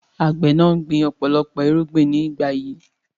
Àgbẹ̀ náà gbìn ọ̀pọ̀lọpọ̀ irúgbìn ní ìgbà yìí.